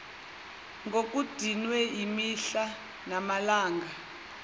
ngokudinwa imihla namalanga